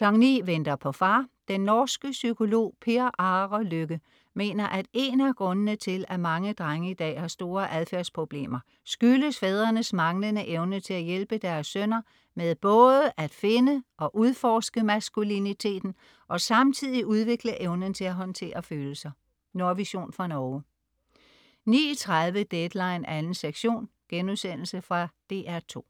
09.00 Venter på far. Den norske psykolog Per Are Løkke mener, at en af grundene til at mange drenge i dag har store adfærdsproblemer, skyldes fædrenes manglende evne til at hjælpe deres sønner med både at finde og udforske maskuliniteten og samtidig udvikle evnen til at håndtere følelser. Nordvision fra Norge 09.30 Deadline 2. sektion.* Fra DR2